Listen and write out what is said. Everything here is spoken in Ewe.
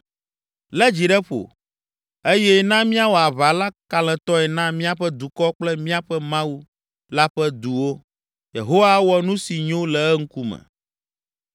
“Lé dzi ɖe ƒo, eye na míawɔ aʋa la kalẽtɔe na míaƒe dukɔ kple míaƒe Mawu la ƒe duwo. Yehowa awɔ nu si nyo le eŋkume.”